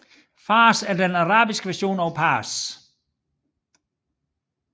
Fārs er den arabiske version af Pars